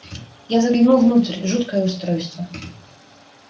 я заглянул внутрь жуткое устройство